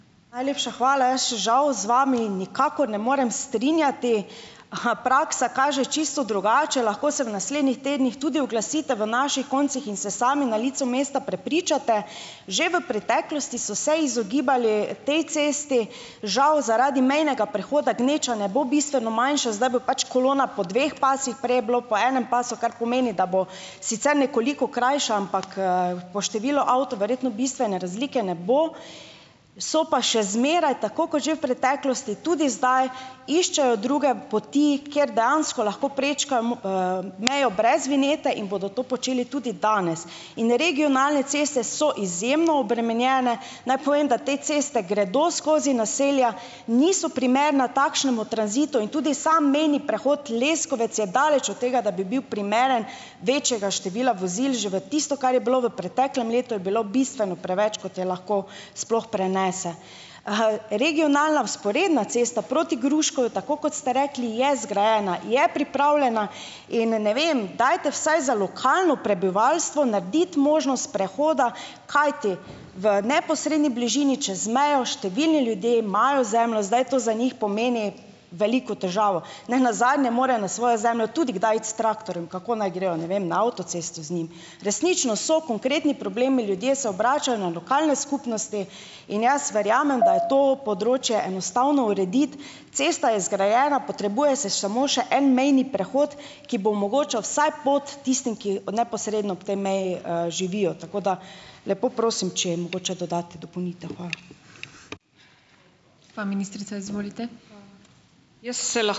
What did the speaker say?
Najlepša hvala. Jaz se žal z vami nikakor ne morem strinjati. Aha, praksa kaže čisto drugače. Lahko se v naslednjih tednih tudi oglasite v naših koncih in se sami na licu mesta prepričate. Že v preteklosti so se izogibali tej cesti, žal zaradi mejnega prehoda gneča ne bo bistveno manjša, zdaj bo pač kolona po dveh pasovih, prej je bilo po enem pasu, kar pomeni, da bo sicer nekoliko krajša, ampak, po število avtov verjetno bistvene razlike ne bo, so pa še zmeraj, tako kot že v preteklosti, tudi zdaj, iščejo druge poti, ker dejansko lahko prečkam, mejo brez vinjete in bodo to počeli tudi danes. In regionalne ceste so izjemno obremenjene. Naj povem, da te ceste gredo skozi naselja, niso primerna takšnemu tranzitu in tudi sam mejni prehod Leskovec je daleč od tega, da bi bil primeren večjega števila vozil. Že v tistem, kar je bilo v preteklem letu, je bilo bistveno preveč, kot je lahko sploh prenese. regionalna vzporedna cesta proti Gruškovju, tako kot ste rekli, je zgrajena, je pripravljena in, ne vem, dajte vsaj za lokalno prebivalstvo narediti možnost prehoda, kajti v neposredni bližini čez mejo, številni ljudi imajo zemljo, zdaj to za njih pomeni veliko težavo. Nenazadnje morajo na svojo zemljo tudi kdaj iti s traktorjem. Kako naj grejo? Ne vem. Na avtocesto z njim? Resnično so konkretni problemi, ljudje se obračajo na lokalne skupnosti in jaz verjamem, da je to področje enostavno urediti. Cesta je zgrajena, potrebuje se samo še en mejni prehod, ki bo omogočal vsaj pot tistim, ki neposredno ob tej meji, živijo. Tako da lepo prosim, če jim mogoče dodate dopolnitev. Hvala. Gospa ministrica, izvolite. Jaz se ...